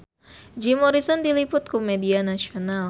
Jim Morrison diliput ku media nasional